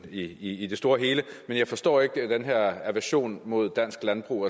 i i det store og hele men jeg forstår ikke den her aversion imod dansk landbrug